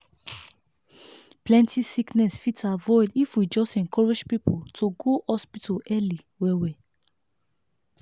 plenty sickness fit avoid if we just encourage people to go hospital early well well.